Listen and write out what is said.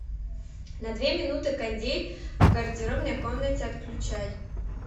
на две минуты кондей в гардеробной комнате отключай